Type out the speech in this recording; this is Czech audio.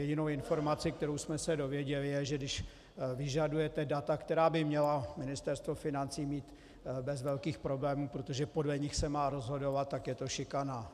Jedinou informací, kterou jsme se dověděli, je, že když vyžadujete data, která by měla Ministerstvo financí mít bez velkých problémů, protože podle nich se má rozhodovat, tak je to šikana.